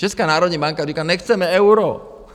Česká národní banka říká, nechceme euro.